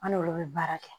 An n'olu bɛ baara kɛ